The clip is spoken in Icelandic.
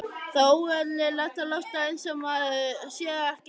Það er óeðlilegt að láta einsog maður sé ekki til.